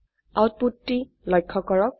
output টি লক্ষ্য কৰক